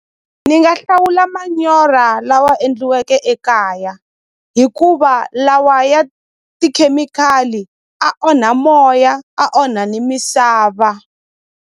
Ni nga hlawula manyora lawa endliweke ekaya hikuva lawa ya tikhemikhali a onha moya a onha ni misava.